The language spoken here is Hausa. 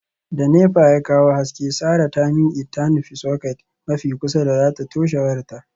Da nepa ya kawo haske, sarah ta miqe ta nufi socket mafi kusa da zata toshe wayarta.